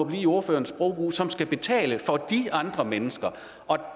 i ordførerens sprogbrug som skal betale for de andre mennesker og